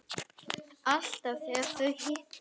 Alltaf þegar þau hittast